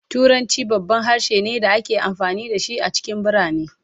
Turanci babban harshe ne da ake amfani da shi a cikin birane